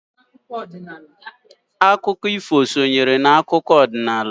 Akụkọ ifu sonyere n'akụkọ ọdinnala.